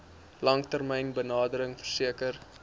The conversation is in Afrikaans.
langtermyn benadering verseker